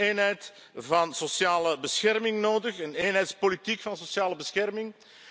U hebt ook een eenheid van sociale bescherming nodig, een eenheidspolitiek van sociale bescherming.